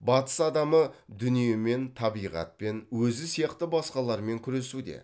батыс адамы дүниемен табиғатпен өзі сияқты басқалармен күресуде